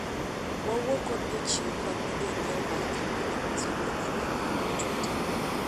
wauo kod jochiw kony ne jonyiewo mar kambi amazon kokalo e mbui mar twita